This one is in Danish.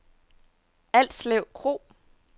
Alslev Kro